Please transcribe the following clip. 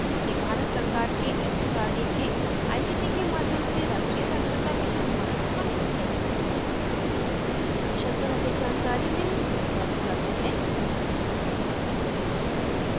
यह भारत सरकार के एमएचआरडी के आईसीटी के माध्यम से राष्ट्रीय साक्षरता mission द्वारा समर्थित है इस mission पर अधिक जानकारी निम्न लिंक पर उपलब्ध है